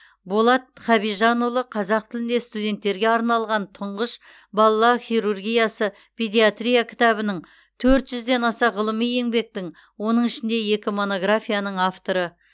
болат хабижанұлы қазақ тілінде студенттерге арналған тұңғыш бала хирургиясы педиатрия кітабінің төрт жүзден аса ғылыми еңбектің оның ішінде екі монографияның авторы